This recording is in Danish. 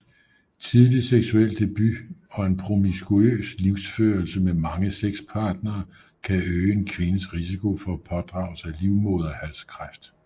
Tidlig seksuel debut og en promiskuøs livsførelse med mange sexpartnere kan øge en kvindes risiko for at pådrage sig livmoderhalskræft